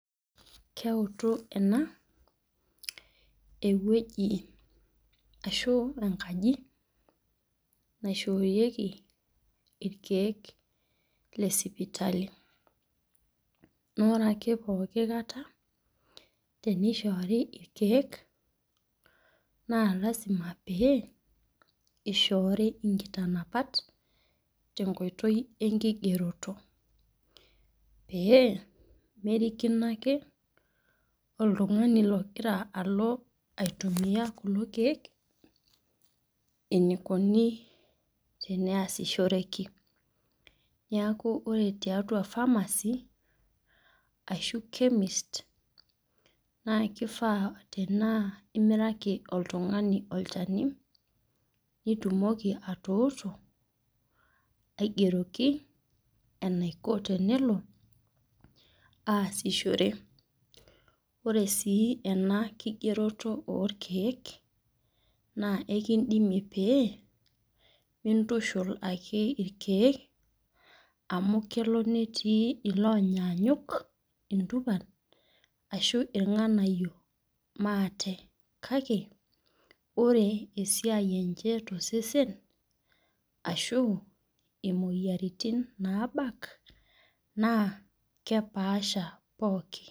Keutu ena ewueji, ashu enkaji naoshoorieki irkeek le sipitali. naa ore ake pooki kata teneishor irkkek naa lasima pee ishori inkitanapat tenkoitoi enkigeroto. pee merikino ake oltungani ogira alo aitumia kulo keek. enikonu teneashoreki. neeku ore tiatua pharmacy ashu chemist kifaa tenaa imiraki oltungani olchani nitumoki atuturu aigeroki enaiko tenelo. aasishore. ore sii ena kigeroto oorkeek naa ekeidimi e pee mintushul ake irkeek, amu kelo netii iloonyanyuk entupa. ashu ilnganayio maate. kake ore esiai enche tosesen ashu imoyiaritin naabak Nas kepaasha pookin.